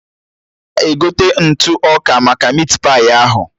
Ogo na-egote ntụ ọka maka mit pai ahụ